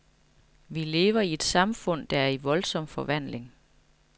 Vi lever i et samfund, der er i voldsom forvandling.